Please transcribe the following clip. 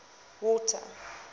water